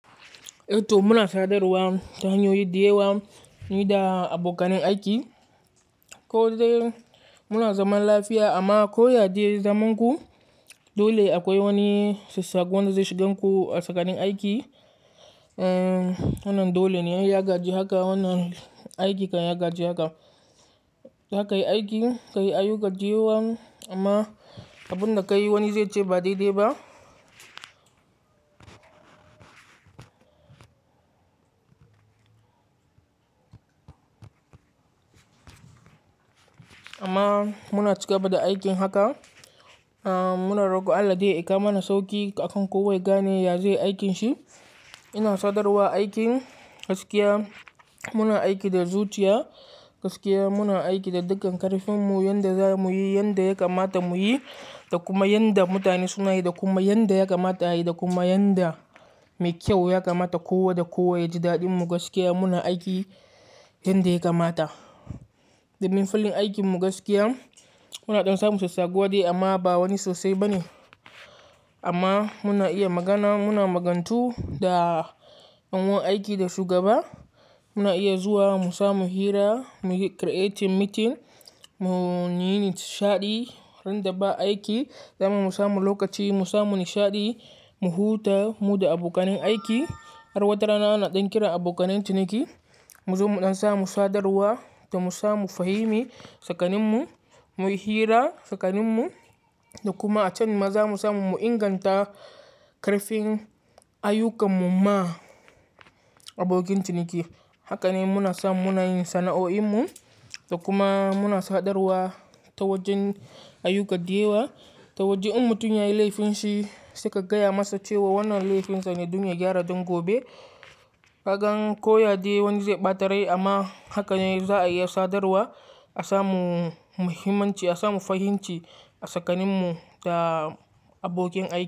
Toh muna sadarwa ta hanyoyi da yawa, ni da abokanan aiki. Ko dai muna zaman lafiya amma ko ya dai zaman ku, dole akwai wani sabbani da zai shiga muku a tsakanin aiki. Wannan dole ne ya gaji haka, wannan aiki kan gaji haka. Haka yi aiki, ka yi ayuka dawaya amma abun da ka yi wani zai ce ba dai dai ba. Amma muna ci gaba da aikin haka. Muna rogo Allah dai ya kawo mana sauƙi akan kowa ga ne ya zaiyi aikin shi. Ina sadarwa aiki gaskiya, muna aiki da zuciya, gaskiya muna aiki da dukkan ƙarfinmu yanda za mu yi, yanda ya kamata mu yi da kuma yanda mutane suna yi da kuma yanda ya kamata a yi da kuma yanda mai kyau ya kamata kowa da kowa ya ji daɗin mu gaskiya muna aiki yanda ya kamata. Domin filin aikin mu gaskiya, muna ɗan samun sassabuwa dai amma ba wani sosai ba ne. Amma muna iya magana, muna magantu da ɗan'uwan aiki da shugaba. Muna iya zuwa mu samu hira, mu yi creative meeting, mu yi nishaɗi ran da ba aiki, dan mu samu lokaci mu samu nishaɗi, mu huta mu da abokanin aiki. Har wata rana ana ɗan kiran abokanin ciniki mu zo mu ɗan samu sadarwa da mu samu fahimi tsakaninmu, mu yi hira tsakaninmu da kuma a can ma za mu samu mu inganta ƙarfin ayyukan mu ma abokin ciniki. Haka ne muna samu muna yin sana'o'in mu da kuma muna sadarwa ta wajen ayyuka da yawa, ta wajen mutum yayi laifin shi sai ka gaya masa cewa wannan laifin sa ne don ya gyara don gobe. Ka gan koyade wani zai ɓata rai amma haka ne za a iya sadarwa a samu muhimmanci, a samu fahimci a tsakaninmu da abokin aiki.